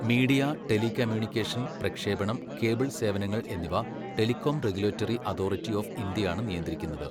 Media, telecommunication, പ്രക്ഷേപണം, cable സേവനങ്ങൾ എന്നിവ ടെലികോം റെഗുലേറ്ററി അതോറിറ്റി ഓഫ് ഇന്ത്യയാണ് നിയന്ത്രിക്കുന്നത്.